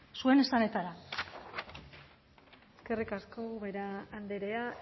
zuen esanetara eskerrik asko ubera andrea